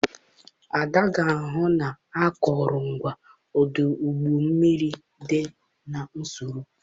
Ada ga-ahụ na akụrụngwa ọdụ ụgbọ mmiri dị n'usoro.